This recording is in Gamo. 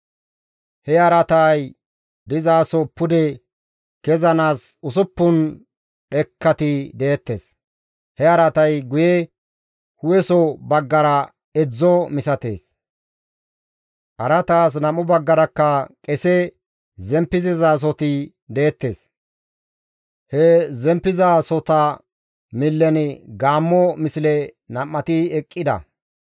He araatay dizaso pude kezanaas usuppun dhekkati deettes; he araatay guye hu7eso baggara edzdzo misatees; araataas nam7u baggarakka qese zemppissizasoti deettes; he zemppizasota millen gaammo misle nam7ati eqqida.